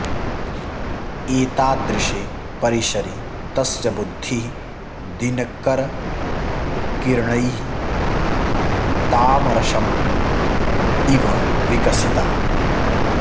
एतादृशे परिसरे तस्य बुद्धिः दिनकरकिर्णैः तामरसम् इव विकसिता